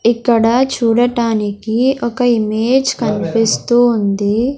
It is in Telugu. ఇక్కడ చూడటానికి ఒక ఇమేజ్ కన్పిస్తూ ఉంది.